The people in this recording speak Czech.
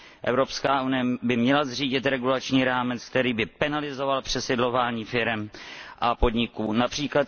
Evropská unie by měla zřídit regulační rámec, který by penalizoval přesídlovaní firem a podniků, např.